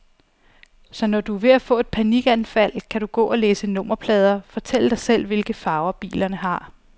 Så når du er ved at få et panikanfald, kan du gå og læse nummerplader, fortælle dig selv, hvilke farver bilerne har.